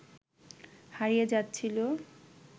হারিয়ে যাচ্ছিল